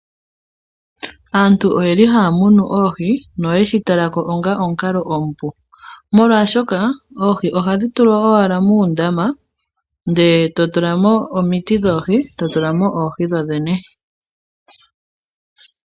Aantu oyeli haya munu oohi, noyeshi talako onga omukalo omupu. Molwaashoka oohi ohadhi tulwa owala muundama ndee totula mo omiti dhoohi totula mo oohi dhodhene